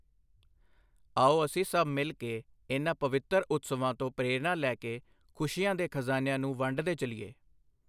ਆਓ ਅਸੀਂ ਸਭ ਮਿਲ ਕੇ ਇਨਾਂ ਪਵਿੱਤਰ ਉਤਸਵਾਂ ਤੋਂ ਪ੍ਰੇਰਣਾ ਲੈ ਕੇ ਖੁਸ਼ੀਆਂ ਦੇ ਖਜ਼ਾਨਿਆਂ ਨੂੰ ਵੰਡਦੇ ਚੱਲੀਏ।